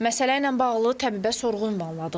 Məsələ ilə bağlı təbibə sorğu ünvanladıq.